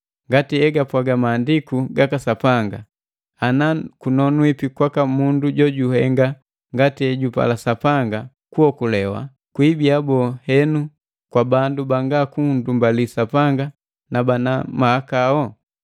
Ngati egapwaga Maandiku gaka Sapanga: “Ana kunonwipi kwaka mundu jojuhenga ngati ejupala Sapanga kuokolewa; kwiibiya boo henu, kwa bandu banga kundumbali Sapanga na bana mahakau?”